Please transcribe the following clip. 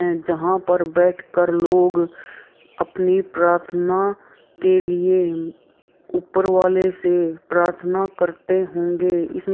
जहाँ पर बैठ कर लोग अपनी प्रार्थना के लिए ऊपर वाले से प्रार्थना करते होंगे। इसमें --